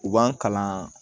U b'an kalan